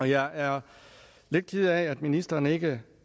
jeg er lidt ked af at ministeren ikke